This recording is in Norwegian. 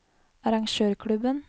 arrangørklubben